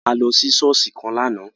A lọ sí ṣọ̀ọ́sì kan lààná